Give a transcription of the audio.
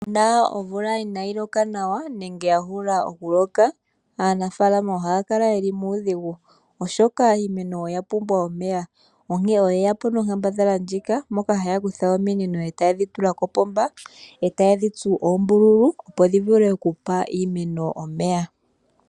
Uuna omvula inaayi loka nawa nenge ya hula okuloka aanafaalama ohaya kala yeli muudhigu oshoka iimeno oya pumbwa omeya onkene oyeya po nonkambadhala ndjika moka haya kutha ominino etaye dhi tula kopomba, taye dhi tsu oombululu opo dhi vule okupa iimeno omeya.